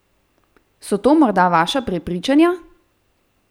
So to morda vaša prepričanja?